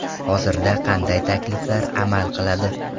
Hozirda qanday takliflar amal qiladi?